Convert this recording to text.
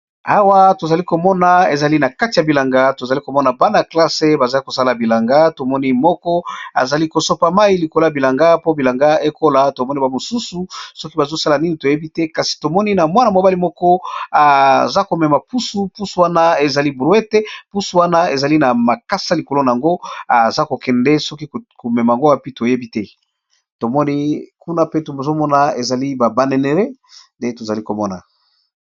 Awa tozali komona ezali na kati ya bilanga tozali komona bana-klasse bazali kosala bilanga tomoni moko azali kosopa mai likoloya bilanga po bilanga ekola tomoni ba mosusu soki bazosala nini toyebi te kasi tomoni na mwana mobali moko aza komema pusu pusu wana ezali brouete pusu wana ezali na makasa likolo na yango aza kokende soki komema ngobapi toyebi te tomoni kuna pe tzomona ezali babaneneré de tozali komona.